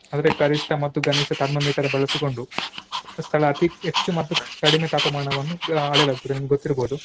ಆದ್ರೆ ಕರಿಷ್ಟ ಮತ್ತು ಗನಿಷ್ಟ thermometer ಬಳಸಿಕೊಂಡು ಸ್ಥಳ ಅತೀ ಹೆಚ್ಚು ಮತ್ತು ಕಡಿಮೆ ತಾಪಮಾನವನ್ನು ಅಳೆಯಲಾಗುತ್ತದೆ ನಿಮಗೆ ಗೊತ್ತಿರ್ಬಹುದು.